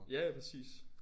Ja ja præcis